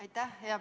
Aitäh!